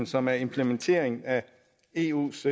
som er implementeringen af eus